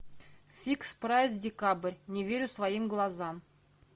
фикс прайс декабрь не верю своим глазам